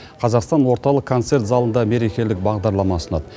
қазақстан орталық концерт залында мерекелік бағдарлама ұсынады